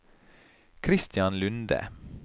Kristian Lunde